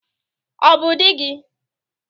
Ọ bụ di gị?